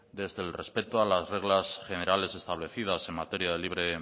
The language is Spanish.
desde el respecto a las reglas generales establecidas en materia de libre